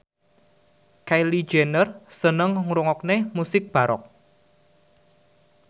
Kylie Jenner seneng ngrungokne musik baroque